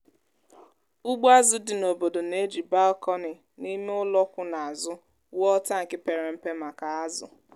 ụgbọ azụ dị n’obodo na-eji balkonị na ime ụlọ kwụ n’azu wuo tankị pere mpe maka azụ.